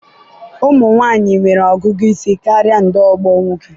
ụmụ nwanyị nwere ọgụgụ isi karịa ndị ogbo nwoke.